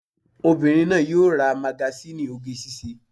Obìnrin náà yóò ra magasíìnì oge síṣe